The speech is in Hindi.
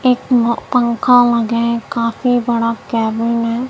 एक पंखा लगे हैं काफी बड़ा केबिन है।